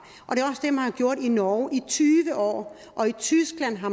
gjort i norge i tyve år og i tyskland har